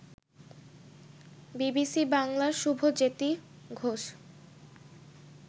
BBC বাংলার শুভজ্যেতি ঘোষ